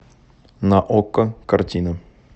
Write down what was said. на окко картина